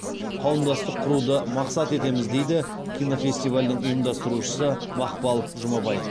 қауымдастық құруды мақсат етеміз дейді кинофестивальдің ұйымдастырушысы мақпал жұмабай